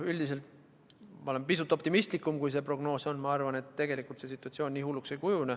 Aga üldiselt olen ma pisut optimistlikum kui see prognoos ja arvan, et tegelikult see situatsioon nii hulluks ei kujune.